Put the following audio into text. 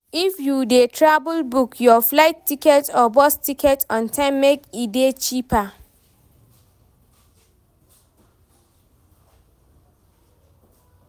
If you de travel book your flight ticket or bus ticket on time make e de cheaper